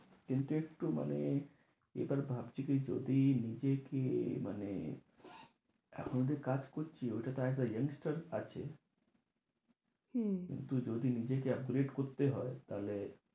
কিন্তু একটু মানে এবার ভাবছি কি যদি নিজে কি এই মানে এখন তো কাজ করছি, ওটা জানিস তো আছে। হম কিন্তু যদি নিজেকে upgrade করতে হয়, তাহলে